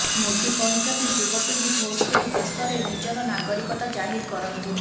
ମୋଦି କହିଛନ୍ତି ଯୁବପିଢି ଭୋଟ ଦେଇ ଦେଶରେ ନିଜର ନାଗରିକତା ଜାହିର କରନ୍ତୁ